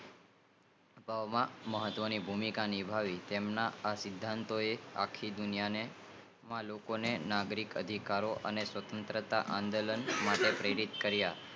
મહત્વ ની ભૂમિકા નિભાવે છે તેમના આ સિદ્ધાંતો આખી દુનિયા માં લોકો ને નાગરિક અદિકારીઓ અને સ્વાત્રતા આંદોલન માટે પ્રેરિત કરિયા